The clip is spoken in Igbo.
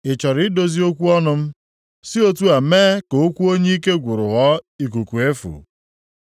Ị chọrọ idozi okwu ọnụ m? Si otu a mee ka okwu onye ike gwụrụ ghọọ ikuku efu?